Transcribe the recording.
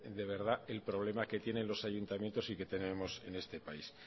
de verdad el problema que tiene los ayuntamientos y que tenemos en este país